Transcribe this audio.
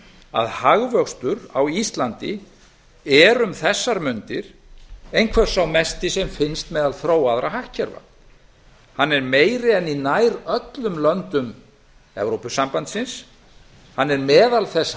að hagvöxtur á íslandi er um þessar mundir einhver sá mesti sem finnst meðal þróaðra hagkerfa hann er meiri en í nær öllum löndum evrópusambandsins hann er meðal þess